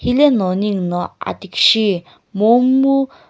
hileno ningu no athikishi momu.